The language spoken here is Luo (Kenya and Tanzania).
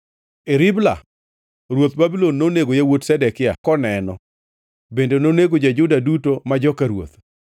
E Ribla ruodh Babulon nonego yawuot Zedekia koneno bende nonego jo-Juda duto ma joka ruoth.